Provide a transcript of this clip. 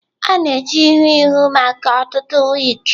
A na-eji ihu ihu maka ọtụtụ wigs.